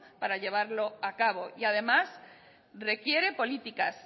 para llevarlo a cabo y además requiere políticas